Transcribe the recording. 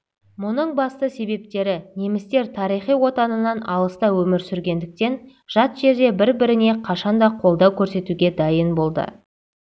мұның басты себептері немістер тарихи отанынан алыста өмір сүргендіктен жат жерде бір-біріне қашан да қолдау көрсетуге дайын болды